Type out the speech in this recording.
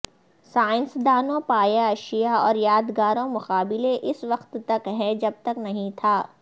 سائنسدانوں پایا اشیاء اور یادگاروں مقابلے اس وقت تک ہے جب تک نہیں تھا